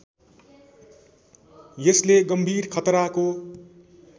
यसले गम्भीर खतराको